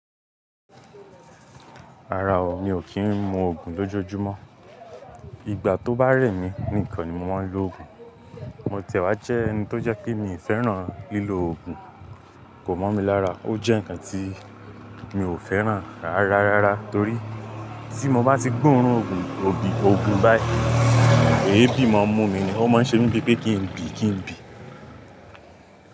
Rárá o, mi ò kí ń mú ògùn lójojúmọ́. Ìgbà tó bá rẹ̀ mí nìkan ni mo máa ń lo ògùn. Mo ti ẹ̀ wá jẹ́ ẹni tó jẹ́ pé mi ò fẹ́ràn lílò ògùn. Kò mọ̀ mi lára, ó jẹ́ ǹkan tí mi ò fẹ́ràn rárá, rárá torí tí mo bá ti gbóòórùn ògùn, ògùn báyìí, èébì máa ń mú mi ni, ó máa ń ṣe mi bi pé kí ń bì, kí ń bì.